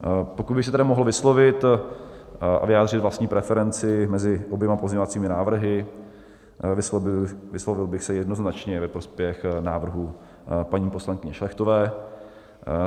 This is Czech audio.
Pokud bych se tedy mohl vyslovit a vyjádřit vlastní preferenci mezi oběma pozměňovacími návrhy, vyslovil bych se jednoznačně ve prospěch návrhu paní poslankyně Šlechtové.